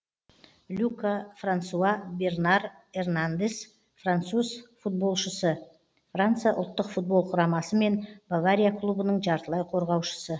люка франсуа бернар эрнандес француз футболшысы франция ұлттық футбол құрамасы мен бавария клубының жартылай қорғаушысы